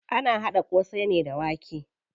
Ana haɗa ƙosai ne da wake.